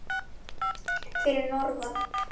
Fyrir norðan.